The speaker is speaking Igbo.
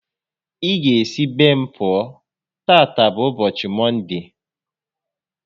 Ị ga esi be m pụọ, tata bụ ụbọchị Mọnde!